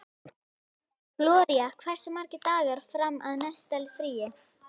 Gloría, hversu margir dagar fram að næsta fríi?